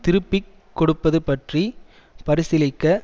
திருப்பி கொடுப்பது பற்றி பரிசீலிக்க